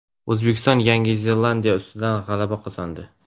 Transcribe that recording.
O‘zbekiston Yangi Zelandiya ustidan g‘alaba qozondi.